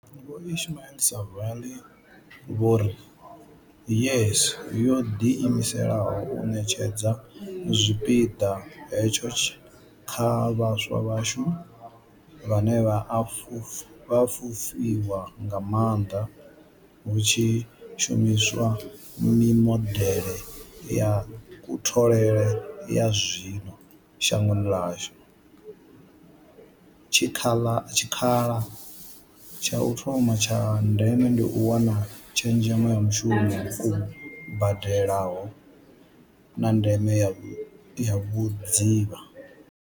Vho Ismail-Saville vho ri YES yo ḓi imisela u ṋetshedza tshipiḓa hetsho kha vhaswa vhashu, vhane vha a fhufhiwa nga maanḓa hu tshi shumiswa mimodeḽe ya kutholele ya zwino shangoni ḽashu, tshikhala tsha u thoma tsha ndeme ndi u wana tshezhemo ya mushumo u badelaho, na ndeme ya vhudzivha.